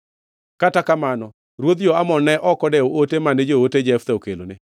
Kata kamano, ruodh jo-Amon ne ok odewo ote mane joote Jeftha okelone.